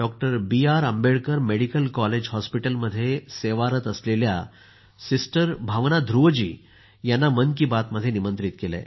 बी R Ambedkar medical college हॉस्पिटलमध्ये सेवारत असलेल्या सिस्टर भावना ध्रुवजी यांना मन की बातमध्ये निमंत्रित केलं आहे